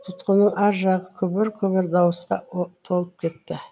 тұтқанның ар жағы күбір күбір дауысқа толып кетті